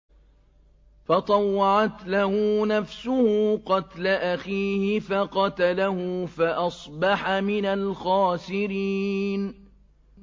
فَطَوَّعَتْ لَهُ نَفْسُهُ قَتْلَ أَخِيهِ فَقَتَلَهُ فَأَصْبَحَ مِنَ الْخَاسِرِينَ